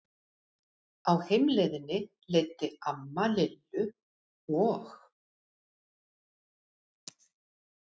Á heimleiðinni leiddi amma Lillu og